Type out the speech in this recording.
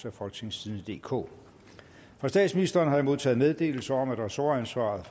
af folketingstidende DK fra statsministeren har jeg modtaget meddelelse om at ressortansvaret